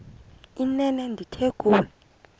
inene ndithi kuwe